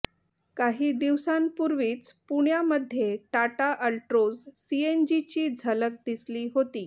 काही दिवसांपूर्वीच पुण्यामध्ये टाटा अल्ट्रोज सीएनजीची झलक दिसली होती